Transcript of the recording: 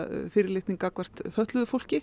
fyrirlitning gagnvart fötluðu fólki